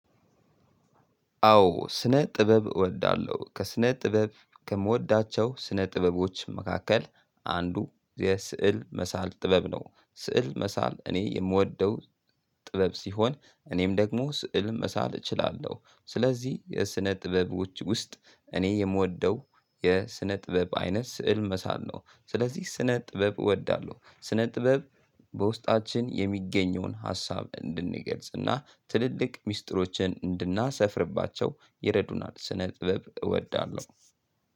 አዎ ስነ ጥበብ እወዳለሁ ከስነ ጥበብ ከምወዳቸው ስነ ጥበቦች መካከል አንዱ የስዕል መሳል ጥበብ ነው ስዕል መሳል እኔ የምወደው ጥበብ ሲሆን እኔም ደግሞ ስዕልን መሳል እችላለሁ። ስለዚህ የስነ ጥበቦች ውስጥ እኔ የምወደው የስነ ጥበብ አይነት ስዕል መሳል ነው። ስለዚህ ስነ ጥበብ እወዳለሁ ስነ ጥበብ በውስጣችን የሚገኘውን ሀሳብ እንድንገልጽ እና ትልልቅ ሚስጥሮችን እንድናሰፍርባቸው የረዱናል ስነ ጥበብ እወዳለሁ።